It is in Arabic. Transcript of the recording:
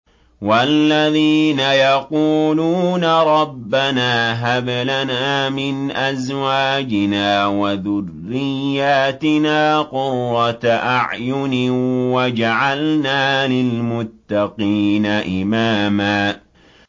وَالَّذِينَ يَقُولُونَ رَبَّنَا هَبْ لَنَا مِنْ أَزْوَاجِنَا وَذُرِّيَّاتِنَا قُرَّةَ أَعْيُنٍ وَاجْعَلْنَا لِلْمُتَّقِينَ إِمَامًا